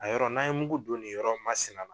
A yɔrɔ n'an ye mugu don nin yɔrɔ masina